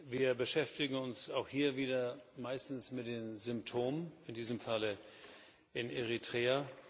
Wir beschäftigen uns auch hier wieder meistens mit den Symptomen, in diesem Falle in Eritrea.